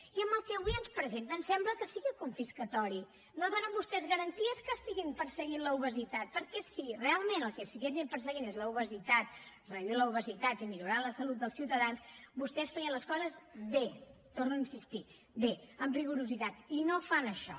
i amb el que avui ens presenten sembla que sigui confiscatori no donen vostès garanties que estiguin perseguint l’obesitat perquè si realment el que estiguéssim perseguint és l’obesitat reduir l’obesitat i millorar la salut dels ciutadans vostès feien les coses bé hi torno a insistir bé amb rigorositat i no fan això